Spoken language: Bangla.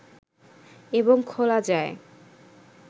এবং খোলা যায়